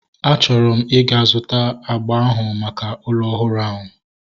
A chọrọ m ịga zụta agba ahu maka ụlọ ọhụrụ ahu